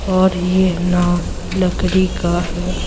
और यह नाव लकड़ी का है।